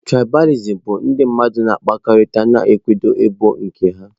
Trịbalìsịm bụ ndị mmadụ na-akpakọrịta ma na-akwado ebo nke ha.